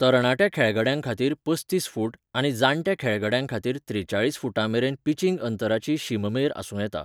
तरणाट्या खेळगड्यांखातीर पस्तीस फूट आनी जाण्ट्या खेळगड्यांखातीर त्रेचाळीस फुटांमेरेन पिचिंग अंतराची शीममेर आसूं येता.